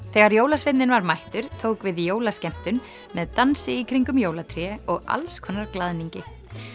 þegar jólasveinninn var mættur tók við jólaskemmtun með dansi í kringum jólatré og glaðningi